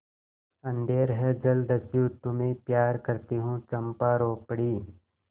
अंधेर है जलदस्यु तुम्हें प्यार करती हूँ चंपा रो पड़ी